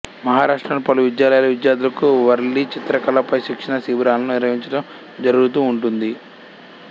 మహారాష్ట్ర లోని పలు విద్యాలయాలు విద్యార్థులకు వర్లీ చిత్రకళ పై శిక్షణా శిబిరాలను నిర్విహించటం జరుగుతూ ఉంటుంది